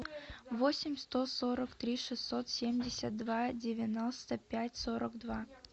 восемь сто сорок три шестьсот семьдесят два девяносто пять сорок два